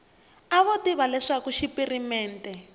a vo tiva leswaku xipirimente